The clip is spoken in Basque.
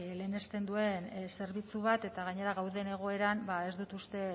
lehenesten duen zerbitzu bat eta gainera gauden egoeran ba ez dut uste